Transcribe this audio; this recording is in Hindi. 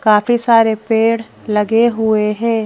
काफी सारे पेड़ लगे हुए हैं।